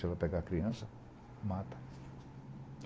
Se ela pegar a criança, mata.